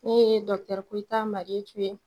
Ne ye Koyita Mariyetu